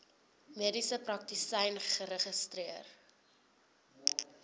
mediese praktisyn geregistreer